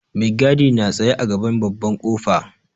Mai gadi na tsaye a gaban babban ƙofa.